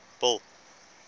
bill